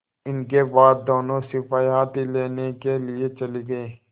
इसके बाद दोनों सिपाही हाथी लेने के लिए चले गए